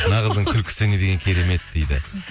мына қыздың күлкісі не деген керемет дейді